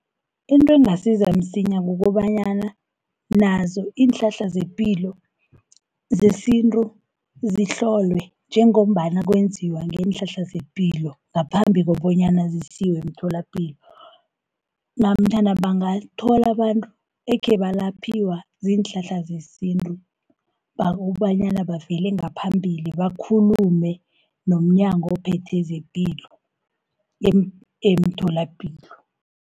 Into engasiza msinyana kukobanyana nazo iinhlahla zepilo zesintu zihlolwe, njengombana kwenziwa ngeenhlahla zepilo, ngaphambi kobanyana zisiwe emtholapilo, namtjhana bangathola abantu ekhe balaphiwa ziinhlahla zesintu, kobanyana bavele ngaphambili, bakhulume nomnyango ophethe zepilo, emtholapilo.